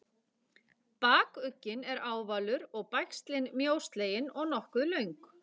Bakugginn er ávalur og bægslin mjóslegin og nokkuð löng.